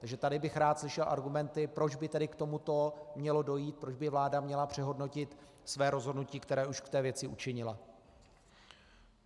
Takže tady bych rád slyšel argumenty, proč by tedy k tomuto mělo dojít, proč by vláda měla přehodnotit své rozhodnutí, které už k té věci učinila.